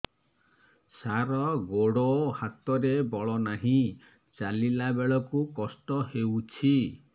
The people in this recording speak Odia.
ସାର ଗୋଡୋ ହାତରେ ବଳ ନାହିଁ ଚାଲିଲା ବେଳକୁ କଷ୍ଟ ହେଉଛି